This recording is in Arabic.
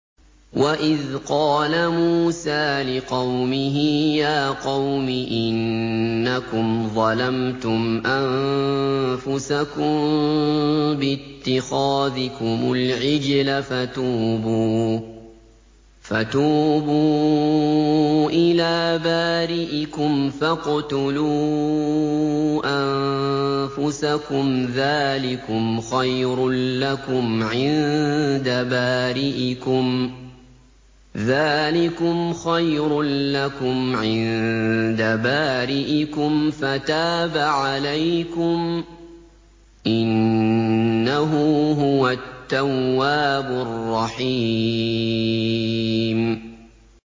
وَإِذْ قَالَ مُوسَىٰ لِقَوْمِهِ يَا قَوْمِ إِنَّكُمْ ظَلَمْتُمْ أَنفُسَكُم بِاتِّخَاذِكُمُ الْعِجْلَ فَتُوبُوا إِلَىٰ بَارِئِكُمْ فَاقْتُلُوا أَنفُسَكُمْ ذَٰلِكُمْ خَيْرٌ لَّكُمْ عِندَ بَارِئِكُمْ فَتَابَ عَلَيْكُمْ ۚ إِنَّهُ هُوَ التَّوَّابُ الرَّحِيمُ